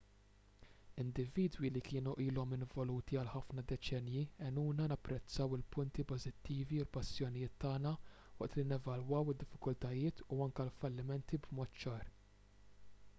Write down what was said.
individwi li kienu ilhom involuti għal ħafna deċennji għenuna napprezzaw il-punti pożittivi u l-passjonijiet tagħna waqt li nevalwaw id-diffikultajiet u anke l-fallimenti b'mod ċar